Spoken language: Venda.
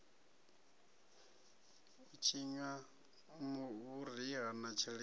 i tshinwa vhuriha na tshilimo